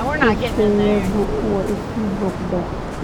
Qoyskayagu waa i soo booqday